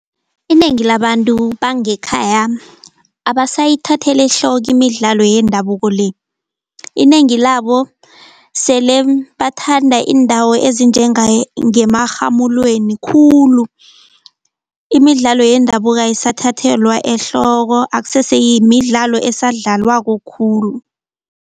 Inengi labantu bangekhaya abasayithatheli ehloko imidlalo yendabuko le. Inengi labo sele bathanda iindawo ezinjenge ngemarhamulweni khulu, imidlalo yendabuko ayisathathelwa ehloko akusese yimidlalo esadlalwako khulu.